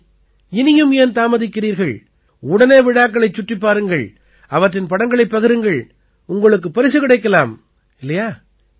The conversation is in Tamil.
சரி இனியும் ஏன் தாமதிக்கிறீர்கள் உடனே விழாக்களைச் சுற்றிப் பாருங்கள் அவற்றின் படங்களைப் பகிருங்கள் உங்களுக்குப் பரிசு கிடைக்கலாம் இல்லையா